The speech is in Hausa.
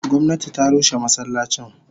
Gomnati ta rushe masallacin.